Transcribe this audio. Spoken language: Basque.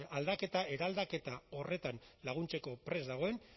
aldaketa eraldaketa horretan laguntzeko prest dagoen